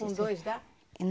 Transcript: Com dois dá?